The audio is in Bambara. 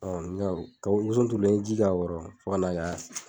Ɔn nga kabili woson turulen n ye ji k'a kɔrɔ fo ka na